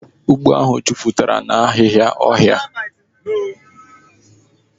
Ugbo ahu juputara na ahihia ohia.